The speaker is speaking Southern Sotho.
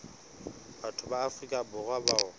batho ba afrika borwa bao